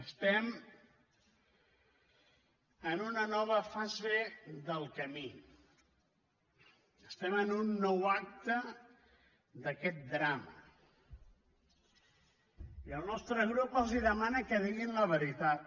estem en una nova fase del camí estem en un nou acte d’aquest drama i el nostre grup els demana que diguin la veritat